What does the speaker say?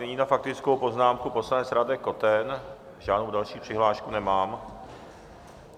Nyní na faktickou poznámku poslanec Radek Koten, žádnou další přihlášku nemám.